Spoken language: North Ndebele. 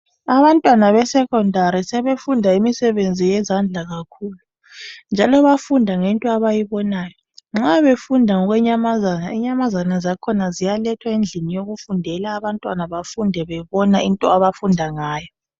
Abantwana besecondary sebefunda imisebenzi yezandla kakhulu njalo bayafunda ngento abayibonayo nxa befunda ngenyamazana inyamazana zakhona ziyalethwa endlini yokufundela abantwana bafunde bebona into abafunda ngayo.